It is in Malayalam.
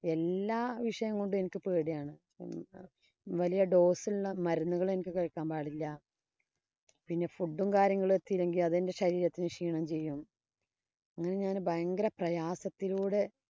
എല്ലാ വിഷയം കൊണ്ടും എനിക്ക് പേടിയാണ്. വലിയ dose ഉള്ള മരുന്നുകള്‍ എനിക്ക് കഴിക്കാന്‍ പാടില്ല. food ഉം കാര്യങ്ങളും എത്തിയില്ലെങ്കില്‍ അതെന്‍റെ ശരീരത്തിനു ക്ഷീണം ചെയ്യും. അങ്ങനെ ഞാന്‍ ഭയങ്കര പ്രയാസത്തിലൂടെ